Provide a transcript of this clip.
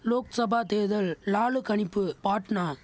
லோக்சபா தேர்தல் லாலு கணிப்பு பாட்னா